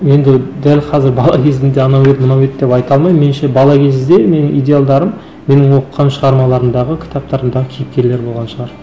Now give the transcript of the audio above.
енді дәл қазір бала кезімде анау еді мынау еді деп айта алмаймын меніңше бала кезде менің идеалдарым менің оқыған шығармаларымдағы кітаптарымдағы кейіпкерлер болған шығар